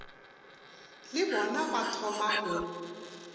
le bona ba thoma go